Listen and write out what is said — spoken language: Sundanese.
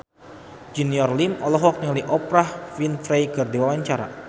Junior Liem olohok ningali Oprah Winfrey keur diwawancara